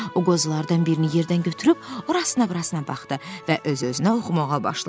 O qozalardan birini yerdən götürüb, orasina-burasına baxdı və öz-özünə oxumağa başladı.